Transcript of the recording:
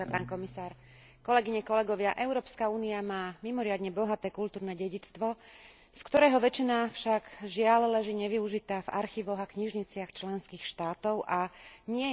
Európska únia má mimoriadne bohaté kultúrne dedičstvo, z ktorého väčšina však, žiaľ, leží nevyužitá v archívoch a knižniciach členských štátov a nie je európskym občanom prístupná.